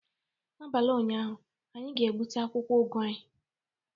N'abalị ụnyaahụ, anyị ga-gbute akwụkwọ ụgụ anyị